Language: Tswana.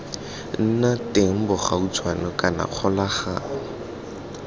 nna teng bogautshwane kana kgolagano